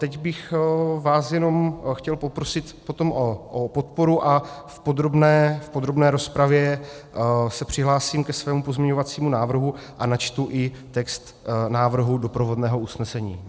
Teď bych vás jenom chtěl poprosit potom o podporu a v podrobné rozpravě se přihlásím ke svému pozměňovacímu návrhu a načtu i text návrhu doprovodného usnesení.